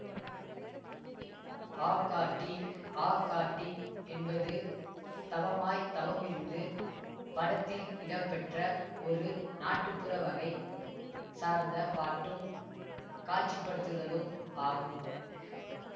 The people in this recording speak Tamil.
ஆக்காட்டி ஆக்காட்டி என்பது தவமாய் தவமிருந்து படத்தில் இடம்பெற்ற ஒரு நாட்டுப்புற வகை சார்ந்த பாட்டும் காட்சிப்படுத்துதலும் ஆகும்